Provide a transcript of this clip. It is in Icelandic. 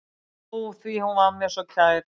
Ó, því hún var mér svo kær.